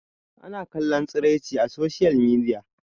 ana kallon tsiraici a soshiyal midiya